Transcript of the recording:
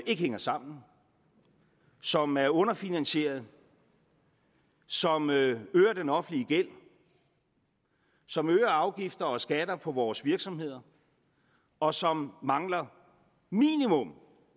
ikke hænger sammen som er underfinansieret som øger den offentlige gæld som øger afgifter og skatter på vores virksomheder og som mangler minimum